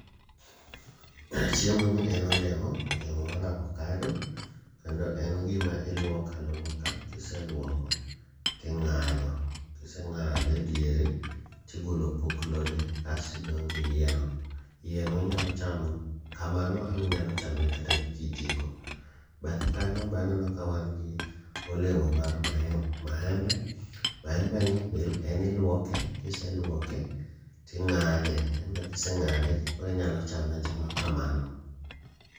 Chiemo ni en olemo, olemo mar avokado. Kendo en gima iluoka luoka, kiseluoko ting'ado. Kiseng'ade e diere tigolo opoklone kastidong' gi iye no, iye no inyalo chamo kamano ama inyalo chame kata gi kijiko. Bathe kanyo baneno ka wan gi olemo mar maembe, maembe ni be en iluoke, kiseluoke ting'ade. Embe kise ng'ade koro inyalo chame achama kamano.